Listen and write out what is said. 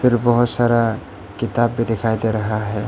बहोत सारा किताब भी दिखाई दे रहा है।